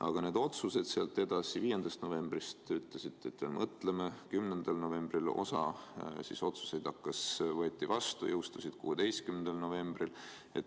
Aga need otsused pärast 5. novembrit – algul te ütlesite, et mõtleme, 10. novembril mingid otsused võeti vastu, need jõustusid 16. novembril.